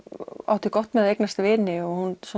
átti gott með að eignast vini og hún